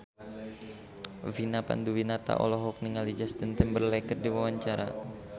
Vina Panduwinata olohok ningali Justin Timberlake keur diwawancara